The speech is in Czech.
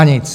A nic.